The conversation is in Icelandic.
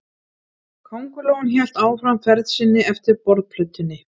Kóngulóin hélt áfram ferð sinni eftir borðplötunni.